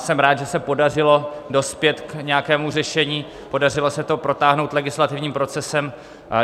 Jsem rád, že se podařilo dospět k nějakému řešení, podařilo se to protáhnout legislativním procesem.